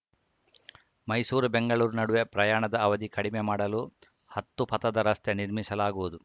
ಮೈಸೂರುಬೆಂಗಳೂರು ನಡುವೆ ಪ್ರಯಾಣದ ಅವಧಿ ಕಡಿಮೆ ಮಾಡಲು ಹತ್ತುಪಥದ ರಸ್ತೆ ನಿರ್ಮಿಸಲಾಗುವುದು